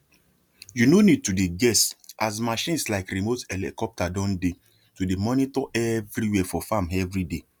you no need to dey guess as machines like remote helicopter don dey to they monitor every where for farm everyday